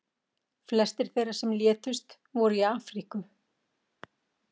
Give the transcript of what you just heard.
Flestir þeirra sem létust voru í Afríku.